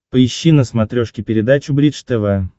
поищи на смотрешке передачу бридж тв